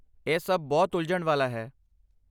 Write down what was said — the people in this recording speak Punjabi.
ਇਹ ਸਭ ਬਹੁਤ ਉਲਝਣ ਵਾਲਾ ਹੈ।